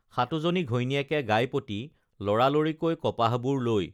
সাতোজনী ঘৈণীয়েকে গাইপতি লৰালৰি কৈ কপাহবোৰ লৈ